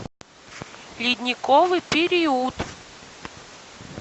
ледниковый период